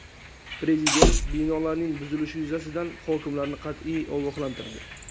Prezident binolarning buzilishi yuzasidan hokimlarni qat’iy ogohlantirdi.